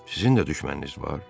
Sizin də düşməniniz var?